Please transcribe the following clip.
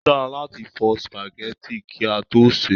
Ó dára láti fọ spaghetti kí a tó sè é